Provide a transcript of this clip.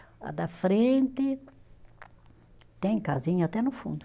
A da frente tem casinha até no fundo.